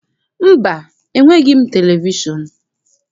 Mba, enweghị m televishọn.